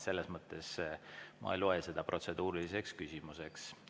Selles mõttes ma ei loe seda protseduuriliseks küsimuseks.